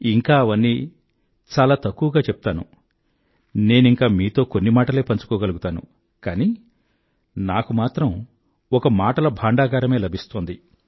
ఇంకా అవన్నీ చాలా తక్కువగానే చెప్తాను నేనింకా మీతో కొన్ని మాటలే పంచుకోగలుగుతాను కానీ నాకు మాత్రం ఒక మాటల భాండాగారమే లభిస్తోంది